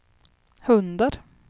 hundar